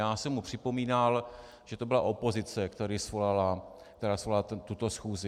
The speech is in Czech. Já jsem mu připomínal, že to byla opozice, která svolala tuto schůzi.